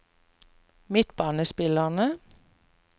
midtbanespillere